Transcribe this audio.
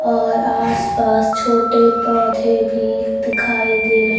और आसपास छोटे पौधे भी दिखाई दे रहे--